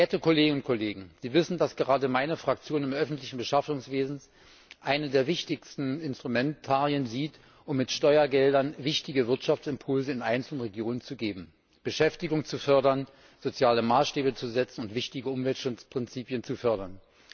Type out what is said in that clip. Verehrte Kolleginnen und Kollegen, Sie wissen, dass gerade meine Fraktion im öffentlichen Beschaffungswesen eines der wichtigsten Instrumentarien sieht, um mit Steuergeldern wichtige Wirtschaftsimpulse in einzelnen Regionen zu geben, Beschäftigung zu fördern, soziale Maßstäbe zu setzen und wichtige Umweltprinzipien zu fördern.